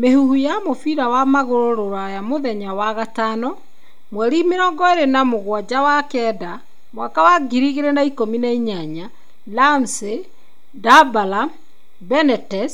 Mĩhuhu ya mũbira wa magũrũ Rũraya mũthenya wa gatano 27.09.2018: Ramsey, Dybala, Benitez,